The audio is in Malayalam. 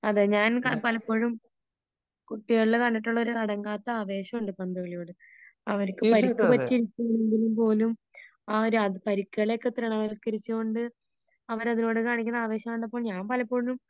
അതേ ഞാൻ പലപ്പോഴും കുട്ടികളില് കണ്ടിട്ടുള്ള ഒരു അടങ്ങാത്ത ആവേശമുണ്ട് പന്തുകളിയോട് . അവർക്ക് പരിക്ക് പറ്റിയാൽ പോലും ആ ഒരു പരിക്കുകളെ ഒക്കെ അവര് ചിരിച്ചു കൊണ്ട് അവര് അതിനോട് കാണിക്കുന്ന ആവേശം കണ്ടിട്ട് ഞാൻ പലപ്പോഴും